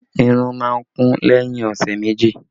Irun má ń kún lẹ́yìn ọ̀sẹ̀ méjì